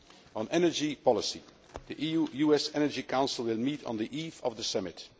On energy policy the EU US Energy Council will meet on the eve of the summit